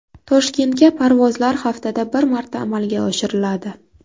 Toshkentga parvozlar haftada bir marta amalga oshiriladi.